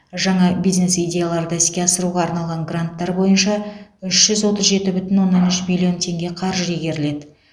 жаңа бизнес идеяларды іске асыруға арналған гранттар бойынша үш жүз отыз жеті бүтін оннан үш миллион теңге қаржы игеріледі